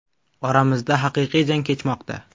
Oramizda haqiqiy jang kechmoqda.